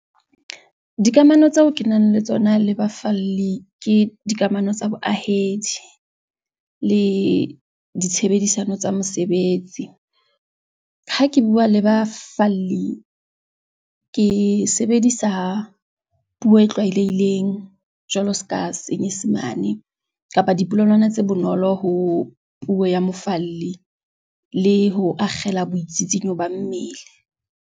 Dikamano tseo ke nang le tsona le bafalli, ke dikamano tsa boahedi, le ditshebedisano tsa mosebetsi. Ha ke bua le bafalli, ke sebedisa puo e tlwaelehileng, jwalo seka senyesemane kapa dipolelwana tse bonolo ho puo ya mofalli, le ho akgela boitsitsinyo ba mmele.